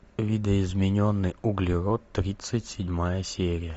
видоизмененный углерод тридцать седьмая серия